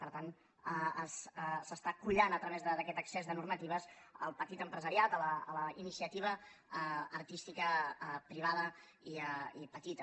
per tant s’està collant a través d’aquest excés de normatives el petit empresariat la iniciativa artística privada i petita